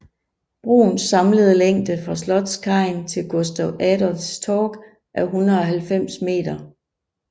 Broens samlede længde fra Slottskajen til Gustav Adolfs Torg er 190 meter